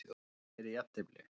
Héðinn gerði jafntefli